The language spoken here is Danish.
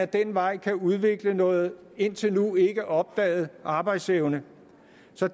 den vej kan udvikles noget indtil nu ikke opdaget arbejdsevne